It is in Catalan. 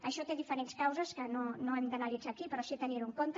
això té diferents causes que no hem d’analitzar aquí però sí tenir ho en compte